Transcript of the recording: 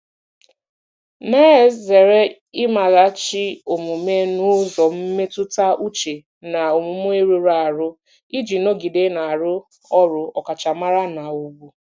na-ezere imeghachi omume n'ụzọ mmetụta uche na omume rụrụ arụ iji nọgide na-arụ ọrụ ọkachamara na ùgwù.